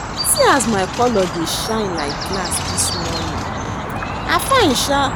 See as my colour dey shine like glass dis morning, I fine sha